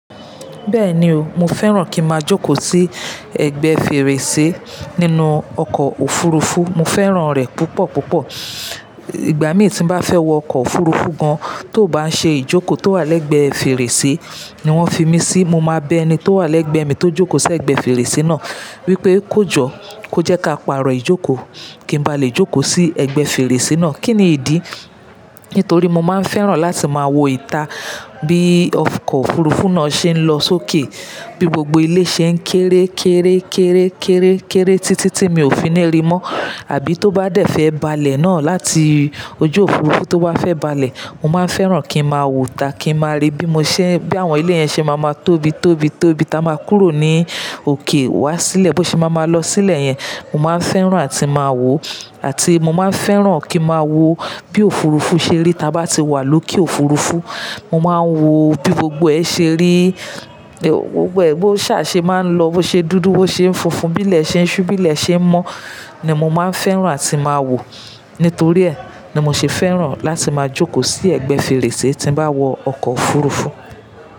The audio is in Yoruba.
Bẹ́ẹ̀ni o, mo fẹ́ràn kí n máa jókòó sí ẹ̀gbẹ́ fèrèsé nínú ọkọ̀ òfurufú, mo fẹ́ràn rẹ̀ púpọ̀ púpọ̀. Ìgbà mín tí n bá fẹ́ wọ ọkọ̀ òfurufú gan, tó bá ń ṣe ìjókòó tó wà lẹ́gbẹ̀ẹ́ fèrèsé ni wọ́n fi mí sí, mo máa bẹ́ ẹni tó wà lẹ́gbẹ̀ẹ́ mi tó jókòó sí ẹ̀gbẹ́ fèrèsé náà wípé kójọ kó jẹ́ ká pàrọ̀ ìjókòó kí n ba lè jókòó sí ẹ̀gbẹ́ fèrèsé náà. Kí ni ìdí? Nítorí mo máa ń fẹ́ràn láti máa wo ìta bí ọkọ̀ òfurufú náà ṣe ń lọ sókè, bí gbogbo ilé ṣe ń kéré, kéré, kéré, kéré, kéré títí tí mi ò fi ní rí mọ́. Àbí tó bá dẹ̀ fẹ́ balẹ̀ náà láti ojú òfurufú tó bá fẹ́ balẹ̀, mo máa fẹ́ràn kí n máa wo ìta kí n máa rí bí mo ṣé, bí àwọn ilé yẹn ṣe máa ń tóbi, tóbi, tóbi táa máa kúrò ní òkè wá sílẹ̀, bó ṣe máa máa lọ sílẹ̀ yẹn, mo máa ń fẹ́ràn áti máa wò, àti mo máa ń fẹ́ràn kí n máa wo bí òfurufú ṣe rí tí a bá ti wà lókè òfurufú, mo máa ń wo bí gbogbo ẹ ṣe rí, gbogbo ẹ bó ṣà ṣe máa ń lọ, bó ṣe dúdú, bó ṣe n funfun, bí ilẹ̀ ṣe ń ṣú, bí ilẹ̀ ṣe ń mọ́ ni mo máa ń fẹ́ràn áti máa wò. Nítorí ẹ ni mo ṣe fẹ́ràn láti máa jókòó sí ẹ̀gbẹ́ fèrèsé tí n bá wọ ọkọ̀ òfurufú.